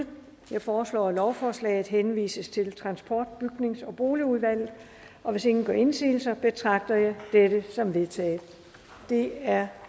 jeg foreslår at lovforslaget henvises til transport bygnings og boligudvalget hvis ingen gør indsigelse betragter jeg dette som vedtaget det er